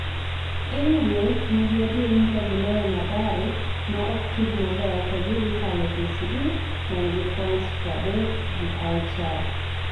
Ingwe nigi adier ni ka giloyo Mathare ma oktug maber to gi dhi kalo KCB manig points pra adek gi auchiel